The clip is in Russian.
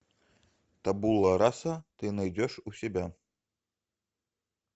табула раса ты найдешь у себя